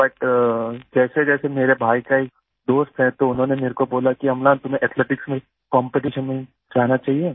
but जैसेजैसे मेरे भाई का एक दोस्त है तो उन्होंने मेरे को बोला कि अम्लान तुम्हें एथलेटिक्स में कॉम्पिटिशन में जाना चाहिये